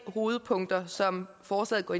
hovedpunkter som forslaget går